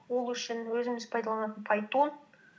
ол үшін өзіміз пайдаланатын пайтон